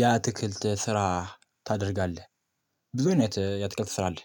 የአትክልት ስራ ታደርጋለህ? ብዙ አይነት የአትክልት ስራ አለ